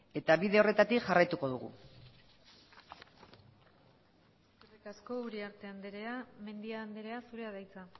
eta bide horretatik jarraituko dugu eskerrik asko uriarte andrea mendia andrea zurea da hitza